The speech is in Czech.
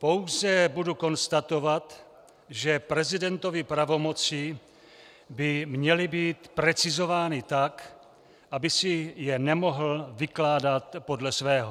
Pouze budu konstatovat, že prezidentovy pravomoci by měly být precizovány tak, aby si je nemohl vykládat podle svého.